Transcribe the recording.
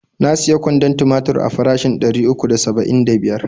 Na siya kwandon timatir a farashin ɗari uku da saba'in da biyar.